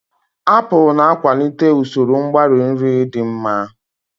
Apụlu na-akwalite usoro mgbari nri dị mma.